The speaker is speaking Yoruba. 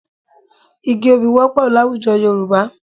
Igi obì wọ́pọ̀ láwùjọ Yorùbá